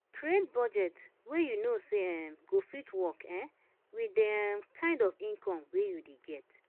Plan for money wey you get for hand, no spend wetin you nova see